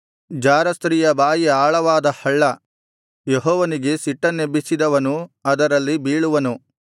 ಜಾರಸ್ತ್ರೀಯ ಬಾಯಿ ಆಳವಾದ ಹಳ್ಳ ಯೆಹೋವನಿಗೆ ಸಿಟ್ಟನ್ನೆಬ್ಬಿಸಿದವನು ಅದರಲ್ಲಿ ಬೀಳುವನು